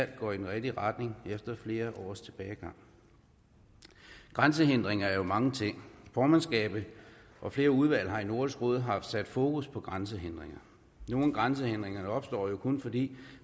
går i den rigtige retning efter flere års tilbagegang grænsehindringer er jo mange ting formandskabet og flere udvalg har i nordisk råd haft sat fokus på grænsehindringer nogle grænsehindringer opstår jo kun fordi